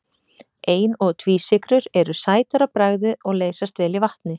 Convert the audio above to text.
Ein- og tvísykrur eru sætar á bragðið og leysast vel í vatni.